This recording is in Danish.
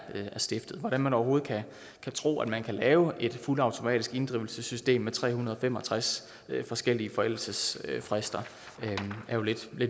stiftet at man overhovedet kan tro at man kan lave et fuldautomatisk inddrivelsessystem med tre hundrede og fem og tres forskellige forældelsesfrister er jo lidt